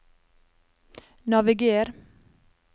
naviger